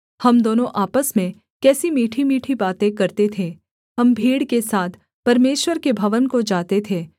हम दोनों आपस में कैसी मीठीमीठी बातें करते थे हम भीड़ के साथ परमेश्वर के भवन को जाते थे